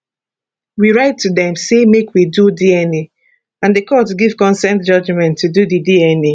we write to dem say make we do dna and di court give consent judgement to do di dna